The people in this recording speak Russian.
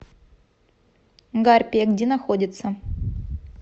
гарпия где находится